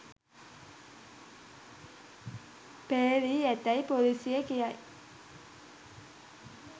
පෙරළී ඇතැයි පොලීසිය කියයි